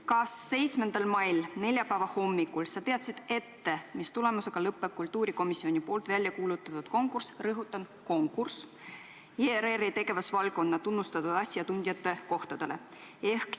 Kas 7. mai, neljapäeva hommikul teadsid sa ette, mis tulemusega lõpeb kultuurikomisjoni välja kuulutatud konkurss – rõhutan, konkurss – ERR-i tegevusvaldkonna tunnustatud asjatundjate kohtadele?